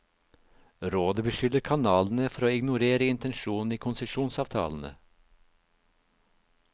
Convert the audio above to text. Rådet beskylder kanalene for å ignorere intensjonen i konsesjonsavtalene.